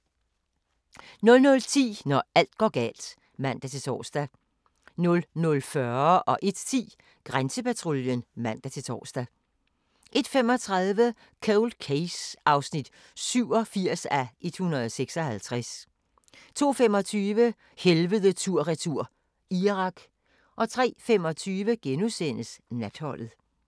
00:10: Når alt går galt (man-tor) 00:40: Grænsepatruljen (man-tor) 01:10: Grænsepatruljen (man-tor) 01:35: Cold Case (87:156) 02:25: Helvede tur/retur – Irak 03:25: Natholdet *